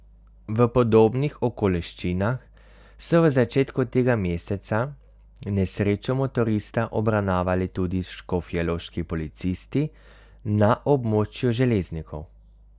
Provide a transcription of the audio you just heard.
V podobnih okoliščinah so v začetku tega meseca nesrečo motorista obravnavali tudi škofjeloški policisti na območju Železnikov.